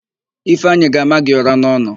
Ifeanyị ga-ama gị ụ̀rá n'ọnụ.